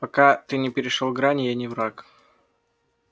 пока ты не перешёл грани я не враг